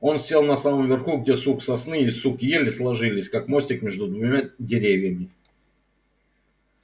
он сел на самом верху где сук сосны и сук ели сложились как мостик между двумя деревьями